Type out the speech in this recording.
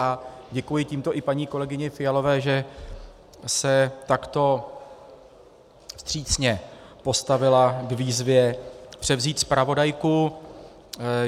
A děkuji tímto i paní kolegyni Fialové, že se takto vstřícně postavila k výzvě převzít zpravodajku.